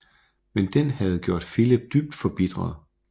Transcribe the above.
Men den havde gjort Filip dybt forbitret